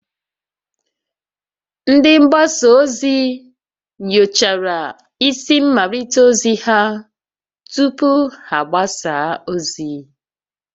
Ndị mgbasa ozi nyochara isi mmalite ozi ha tupu ha agbasa ozi